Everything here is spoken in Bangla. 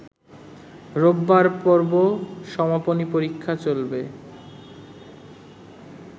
রোববার পর্ব সমাপনী পরীক্ষা চলাকালে